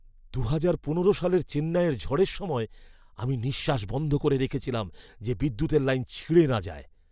দু'হাজার পনেরো সালের চেন্নাইয়ের ঝড়ের সময় আমি নিঃশ্বাস বন্ধ করে রেখেছিলাম যে বিদ্যুতের লাইন ছিঁড়ে না যায়।